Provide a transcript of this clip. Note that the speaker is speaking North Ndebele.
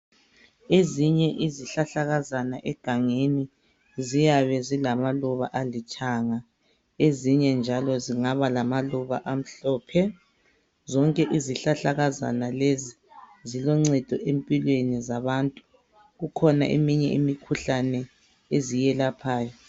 Ezinye izihlahlakazana egangeni ziyabe zilamaluba alithanga. Ezinye njalo zingaba lamaluba amhlophe. Zonke izihlahlakazana lezi ziloncedo empilweni zabantu. Kukhona eminye imikhuhlane eziyelaphayo.